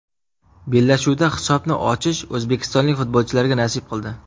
Bellashuvda hisobni ochish o‘zbekistonlik futbolchilarga nasib qildi.